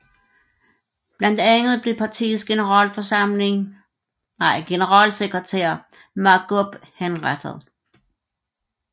Blandt andet blev partiets generalsekretær Mahgoub henrettet